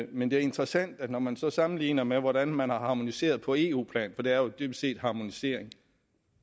men det er interessant at når man så sammenligner med hvordan man har harmoniseret på eu plan for det er jo dybest set harmonisering